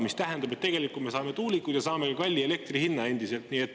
See tähendab, et tegelikult me saame tuulikud ja saame endiselt ka kalli elektri hinna.